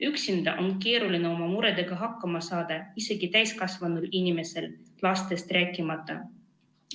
Üksinda on keeruline oma muredega hakkama saada isegi täiskasvanud inimesel, lastest rääkimata.